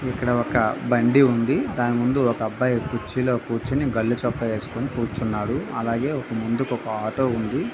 ఇక్కడ ఒక బండి ఉంది. దాని ముందు ఒక అబ్బాయి కుర్చీలో కూర్చుని గళ్ళు చొక్కా వేసుకొని కూర్చున్నాడు. అలాగే ఒక ముందుకు ఒక ఆటో ఉంది.